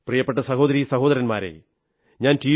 പ്രിയപ്പെട്ട സഹോദരീ സഹോദരന്മാരേ ഞാൻ ടി